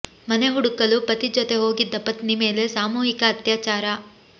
ಮನೆ ಹುಡುಕಲು ಪತಿ ಜೊತೆ ಹೋಗಿದ್ದ ಪತ್ನಿ ಮೇಲೆ ಸಾಮೂಹಿಕ ಅತ್ಯಾಚಾರ